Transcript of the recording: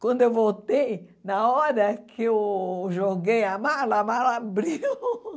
Quando eu voltei, na hora que eu joguei a mala, a mala abriu.